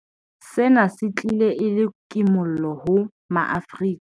Sena se tlile e le kimollo ho ma-Afrika.